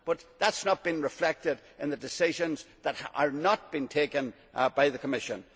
But that has not been reflected in the decisions that are not being taken by the Commission.